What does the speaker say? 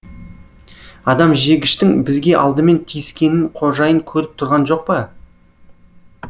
адамжегіштің бізге алдымен тиіскенін қожайын көріп тұрған жоқ па